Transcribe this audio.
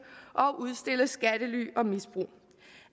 og om at udstille skattely og misbrug